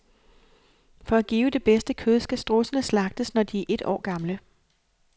For at give det bedste kød skal strudsene slagtes, når de er et år gamle.